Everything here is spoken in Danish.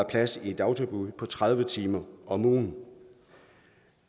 plads i et dagtilbud tredive timer om ugen